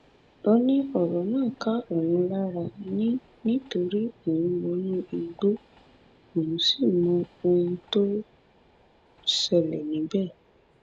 ó ó ní ọrọ náà ká òun lára ni nítorí òun wọnú igbó òun sì mọ ohun tó ń ṣẹlẹ níbẹ